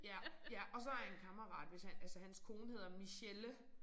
Ja ja og så en kammerat hvis han altså hans kone hedder Michelle